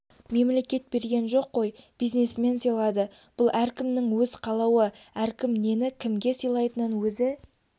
мемлекет берген жоқ қой бизнесмен сыйлады бұл әркімнің өз қалауы әркім нені кімге сыйлайтынын өзі